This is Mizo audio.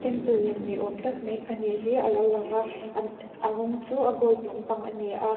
apple lem ni awm tak mai pahnih hi alo lang a an a rawng chu a gold lampang ani a.